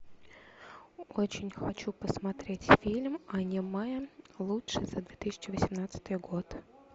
очень хочу посмотреть фильм аниме лучший за две тысячи восемнадцатый год